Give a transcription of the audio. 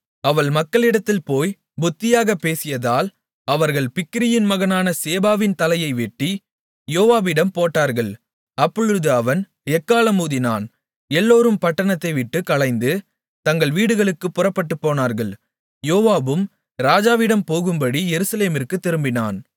அவள் மக்களிடத்தில் போய் புத்தியாகப் பேசியதால் அவர்கள் பிக்கிரியின் மகனான சேபாவின் தலையை வெட்டி யோவாபிடம் போட்டார்கள் அப்பொழுது அவன் எக்காளம் ஊதினான் எல்லோரும் பட்டணத்தைவிட்டுக் கலைந்து தங்கள் வீடுகளுக்குப் புறப்பட்டுப்போனார்கள் யோவாபும் ராஜாவிடம் போகும்படி எருசலேமிற்குத் திரும்பினான்